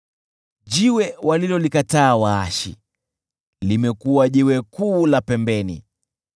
Jiwe walilolikataa waashi, limekuwa jiwe kuu la pembeni.